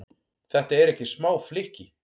Þetta eru ekki smá flykki?